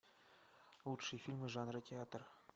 лучшие фильмы жанра театр